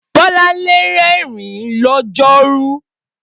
Bolanle rẹ́rìn-ín lọ́jọ́rú